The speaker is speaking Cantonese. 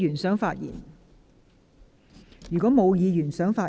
是否有議員想發言？